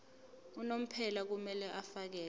unomphela kumele afakele